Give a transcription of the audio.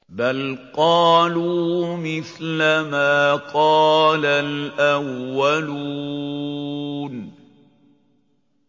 بَلْ قَالُوا مِثْلَ مَا قَالَ الْأَوَّلُونَ